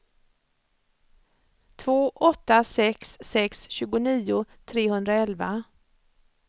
två åtta sex sex tjugonio trehundraelva